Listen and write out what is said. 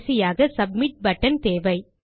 கடைசியாக submit button தேவை